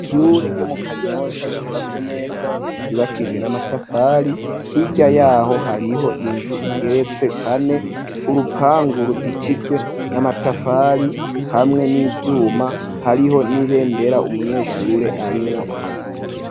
Ishure ryo mu kanyosha ryubatswe neza yubakishijwe n'amatafari, hirya yaho hariho inzu igeretse kane, urupangu ruzitijwe n'amatafari hamwe n'ivyuma hariho n'ibendera umunyeshure arimwo araduza.